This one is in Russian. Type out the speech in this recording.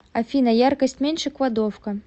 афина яркость меньше кладовка